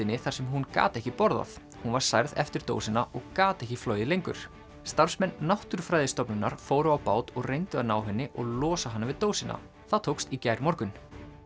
álftinni þar sem hún gat ekki borðað hún var særð eftir dósina og gat ekki flogið lengur starfsmenn Náttúrufræðistofnunar fóru á bát og reyndu að ná henni og losa hana við dósina það tókst í gærmorgun